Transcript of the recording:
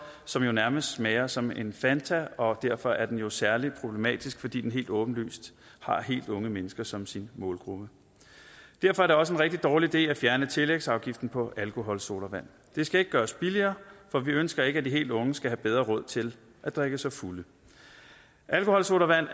som jo nærmest smager som en fanta og derfor er den jo særlig problematisk fordi den helt åbenlyst har helt unge mennesker som sin målgruppe derfor er det også en rigtig dårlig idé at fjerne tillægsafgiften på alkoholsodavand det skal ikke gøres billigere for vi ønsker ikke at de helt unge skal have bedre råd til at drikke sig fulde alkoholsodavand